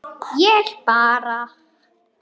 Ég bara.